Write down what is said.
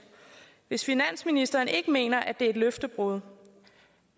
hvis finansministeren ikke mener at det er et løftebrud